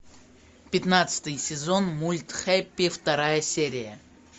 пятнадцатый сезон мульт хэппи вторая серия